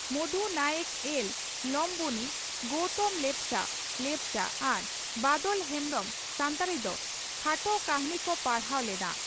ᱢᱚᱫᱷ ᱱᱟᱭᱮᱠ ᱮᱞ (ᱞᱚᱢᱵᱚᱱᱤ), ᱜᱚᱭᱛᱚᱢ ᱞᱮᱯᱪᱟ (ᱞᱮᱯᱪᱟ) ᱟᱨ ᱵᱟᱫᱚᱞ ᱦᱮᱢᱵᱽᱨᱚᱢ (ᱥᱟᱱᱛᱟᱲᱤ) ᱫᱚ ᱠᱷᱟᱴᱚ ᱠᱟᱹᱦᱱᱤ ᱠᱚ ᱯᱟᱲᱦᱟᱣ ᱞᱮᱫᱼᱟ ᱾